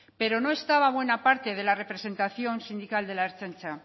pero no estaba buena parte de la representación sindical de la ertzaintza